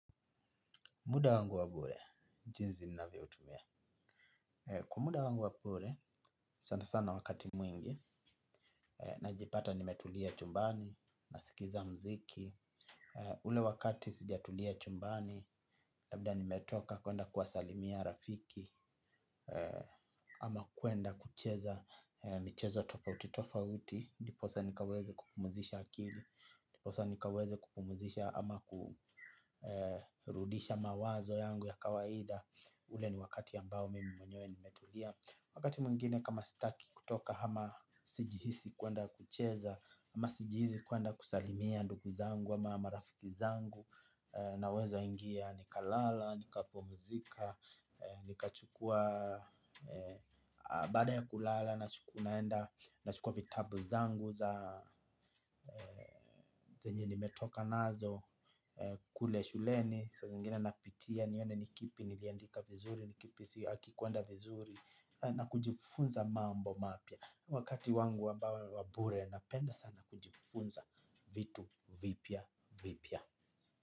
Muda wangu wa bure, jinsi ninavyo utumia. Kwa muda wangu wa bure, sana sana wakati mwingi, na jipata nimetulia chumbani, nasikiza muziki. Ule wakati sijatulia chumbani labda nimetoka kwenda kuwasalimia rafiki ama kwenda kucheza, michezo tofauti tofauti, ndiposa nikaweze kupumuzisha akili, ndiposa nikaweze kupumuzisha ama kurudisha mawazo yangu ya kawaida, ule ni wakati ambao mimi mwenyewe nimetulia. Wakati mwingine kama sitaki kutoka hama sijihisi kwenda kucheza ama sijihisi kwenda kusalimia ndugu zangu ama marafiki zangu. Na weza ingia nikalala, nikapumzika. Nikachukua baada ya kulala na naenda. Na chukua vitabu zangu za zenye nimetoka nazo. Kule shuleni saa zingine napitia nione nikipi. Niliandika vizuri, nikipi si, hakikuenda vizuri. Na kujifunza mambo mapya. Wakati wangu wa bure, napenda sana kujifunza vitu vipya vipya.